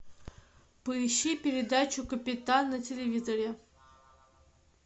поищи передачу капитан на телевизоре